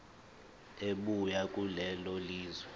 ebuya kulelo lizwe